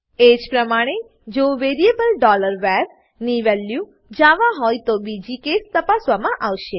એજ પ્રમાણે જો variable var ની વેલ્યુ જાવા હોય તો બીજી કેસ તપાસવામાં આવશે